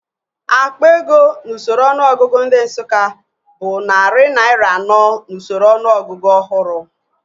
Akpa ego n'usoro ọnụọgụgụ ndị Nsụka bụ narị naira anọ n'usoro ọnụọgụgụ ọhụrụ